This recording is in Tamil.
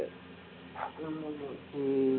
உம்